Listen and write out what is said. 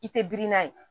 I tɛ girin n'a ye